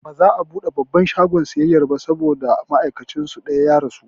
Baza'a buɗe babban shagon siyayya ba gobe saboda ma'aikacin su ɗaya ya rasu